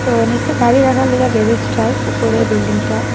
ও নীচে গাড়ি রাখার লইগা গ্যারেজটায় উপরে বিল্ডিংটা।